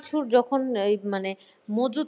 কিছুর যখন এই মানে মজুত করে